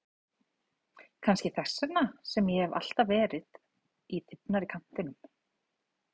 Kannski þess vegna sem ég hef alltaf verið í þybbnari kantinum.